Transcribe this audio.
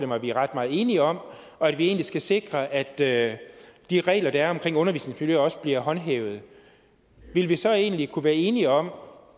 mig at vi er ret meget enige om og at vi skal sikre at at de regler der er om undervisningsmiljø også bliver håndhævet ville vi så egentlig kunne være enige om